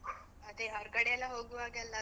ಅದೆ ಹೊರ್ಗಡೆ ಎಲ್ಲ ಹೋಗುವಾಗೆಲ್ಲ ಅದೆ.